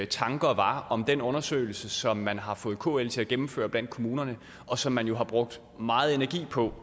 tanker var om den undersøgelse som man har fået kl til at gennemføre blandt kommunerne og som man jo har brugt meget energi på